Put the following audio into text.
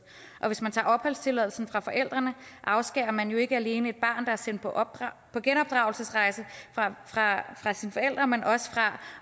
og hvis man tager opholdstilladelsen fra forældrene afskærer man jo ikke alene et barn der er sendt på genopdragelsesrejse fra sine forældre men også fra